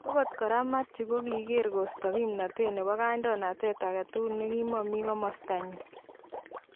Okot kora Mathew: kokokiker kosta kipnotet nebo kaidonatet agetugul nekimomi komosta nyin.